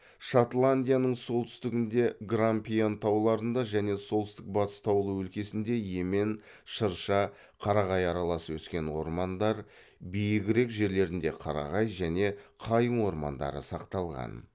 шотландияның солтүстігіндегі грампиан тауларында және солтүстік батыс таулы өлкесінде емен шырша қарағай аралас өскен ормандар биігірек жерлерінде қарағай және қайың ормандары сақталған